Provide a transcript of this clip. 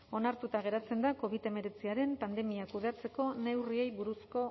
onartuta geratzen da covid hemeretziaren pandemia kudeatzeko neurriei buruzko